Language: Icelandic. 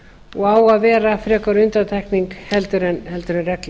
og á að vera frekar undantekning en regla